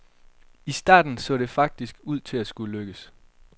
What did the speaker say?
I starten så det faktisk ud til at skulle lykkes.